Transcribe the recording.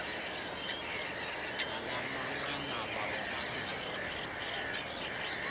zala manqanaba omabini